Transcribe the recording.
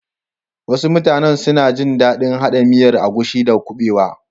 Wasu mutane suna gin dadin hada miyar agushi da kubewa.